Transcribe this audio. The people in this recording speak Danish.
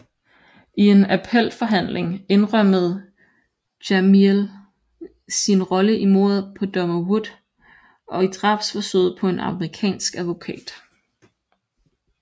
I en appelforhandling indrømmede Jamiel sin rolle i mordet på dommer Wood og i drabsforsøget på en amerikansk advokat